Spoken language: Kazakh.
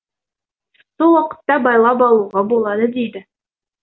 сол уақытта байлап алуға болады дейді